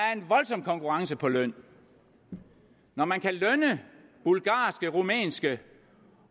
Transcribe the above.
er en voldsom konkurrence på løn når man kan lønne bulgarske rumænske